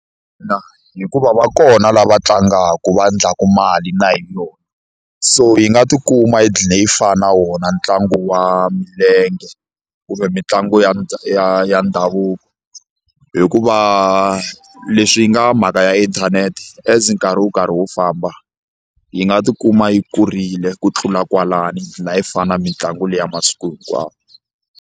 Ina hikuva va kona lava tlangaka va endlaka mali na hi yona so yi nga tikuma yi dqina yi fana na wona ntlangu wa milenge kumbe mitlangu ya ya ya ndhavuko hikuva leswi yi nga mhaka ya inthanete as nkarhi wo karhi wo famba yi nga tikuma yi kurile ku tlula kwalano yi dqila yi fana na mitlangu liya masiku hinkwawo.